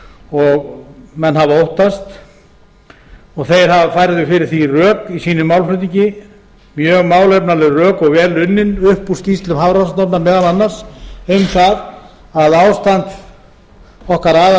og menn hafa óttast þeir færðu fyrir því rök í sínum málflutningi mjög málefnaleg rök og vel unnin upp úr skýrslum hafrannsóknastofnunar meðal annars um það að ástand okkar